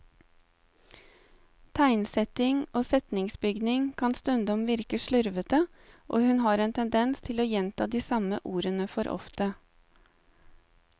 Tegnsetting og setningsbygning kan stundom virke slurvete, og hun har en tendens til å gjenta de samme ordene for ofte.